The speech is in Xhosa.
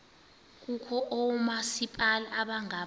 kukho oomasipala abangama